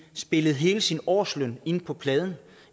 spillet hele sin årsløn ind på pladen